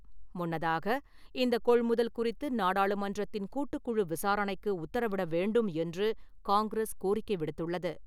முன்னதாக, இந்த கொள்முதல் குறித்து நாடாளுமன்றத்தின் கூட்டுக்குழு விசாரணைக்கு உத்தரவிட வேண்டும் என்று காங்கிரஸ் கோரிக்கை விடுத்துள்ளது.